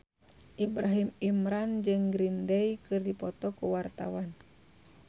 Ibrahim Imran jeung Green Day keur dipoto ku wartawan